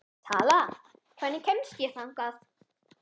Tala, hvernig kemst ég þangað?